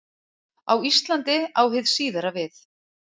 Á Íslandi á hið síðara við.